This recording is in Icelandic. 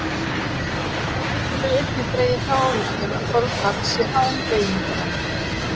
Þá getum við einnig dregið þá ályktun að þolfall sé án beygingarendingar.